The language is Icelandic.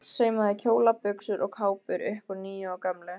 Saumaði kjóla, buxur og kápur upp úr nýju og gömlu.